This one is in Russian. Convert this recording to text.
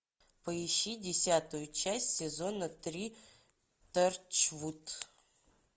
поищи десятую часть сезона три торчвуд